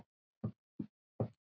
Hún kveður land sitt.